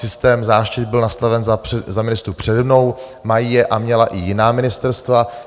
Systém záštit byl nastaven za ministrů přede mnou, mají je a měla i jiná ministerstva.